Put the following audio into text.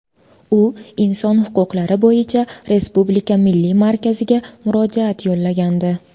U Inson huquqlari bo‘yicha Respublika milliy markaziga murojaat yo‘llagandi.